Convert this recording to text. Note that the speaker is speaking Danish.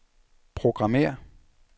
programmér